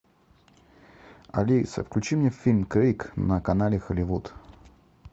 алиса включи мне фильм крик на канале холливуд